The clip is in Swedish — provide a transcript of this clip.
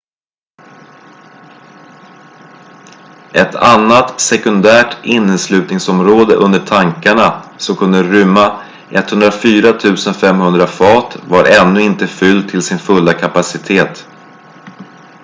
ett annat sekundärt inneslutningsområde under tankarna som kunde rymma 104 500 fat var ännu inte fyllt till sin fulla kapacitet